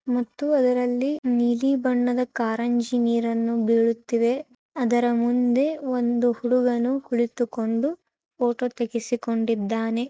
ಮತ್ತು ಅದರಲ್ಲಿ ನೀಲಿ ಬಣ್ಣದ ಕಾರಂಜಿ ನೀರುನ್ನು ಬೀಳುತ್ತಿವೆ. ಅದರ ಮುಂದೆ ಒಂದು ಹುಡುಗನು ಕುಳಿತುಕೊಂಡು ಫೋಟೋ ತೆಗೆಸಿಕೊಂಡಿದ್ದಾನೆ.